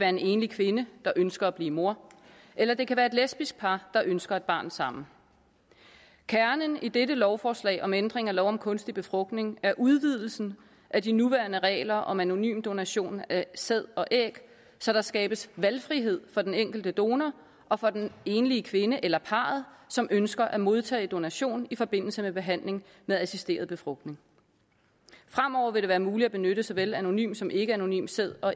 en enlig kvinde der ønsker at blive mor eller det kan være et lesbisk par der ønsker et barn sammen kernen i dette lovforslag om ændring af lov om kunstig befrugtning er udvidelsen af de nuværende regler om anonym donation af sæd og æg så der skabes valgfrihed for den enkelte donor og for den enlige kvinde eller parret som ønsker at modtage donation i forbindelse med behandling med assisteret befrugtning fremover vil det være muligt at benytte såvel anonym som ikkeanonym sæd og